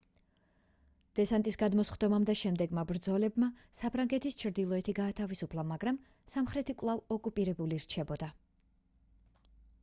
დესანტის გადმოსხდომამ და შემდეგმა ბრძოლებმა საფრანგეთის ჩრდილოეთი გაათავისუფლა მაგრამ სამხრეთი კვლავ ოკუპირებული რჩებოდა